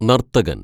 നര്‍ത്തകന്‍